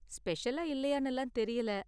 ஸ்பெஷலா இல்லையானுலாம் தெரியல.